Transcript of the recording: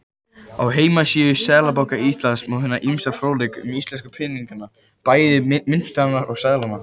Á heimasíðu Seðlabanka Íslands má finna ýmsan fróðleik um íslensku peningana, bæði myntirnar og seðla.